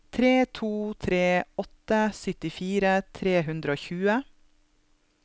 tre to tre åtte syttifire tre hundre og tjue